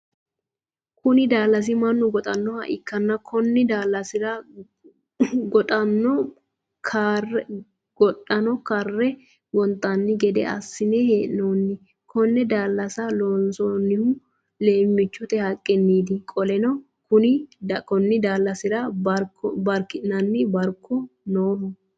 Kunni daalasi Manu goxanoha ikanna konni daalasira gadhanno kare gonxanni gede asinne hee'noonni. Konne daalasa loonsoonnihu leemiichote haqiniiti. Qoleno konni daalasira barki'nanni barkono Nooho.